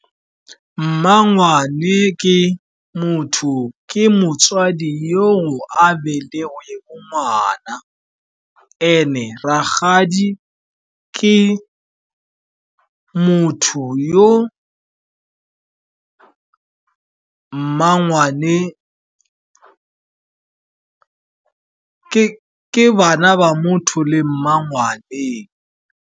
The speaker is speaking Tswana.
Mmangwane ke motswadi yo a belegweng ngwana and-e rakgadi ke bana ba motho le mmangwane.